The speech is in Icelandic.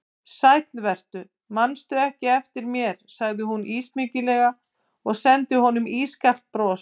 Sæll vertu, mannstu ekki eftir mér sagði hún ísmeygilega og sendi honum ískalt bros.